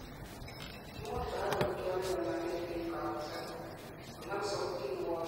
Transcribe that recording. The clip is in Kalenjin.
imuch korak koib chorirnotet en kabuset, kongem sautit newochei, maat nemii ngweny ak uindap teget